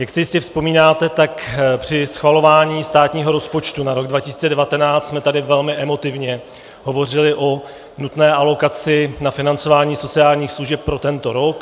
Jak si jistě vzpomínáte, tak při schvalování státního rozpočtu na rok 2019 jsme tady velmi emotivně hovořili o nutné alokaci na financování sociálních služeb pro tento rok.